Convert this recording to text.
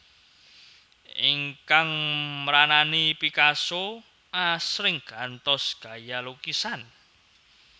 Ingkang mranani Picasso asring gantos gaya lukisan